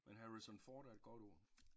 Men Harrison Ford er et godt ord